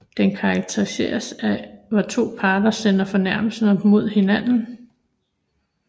Den karakteriseres af at hvor to parter sender fornærmelser mod hinanden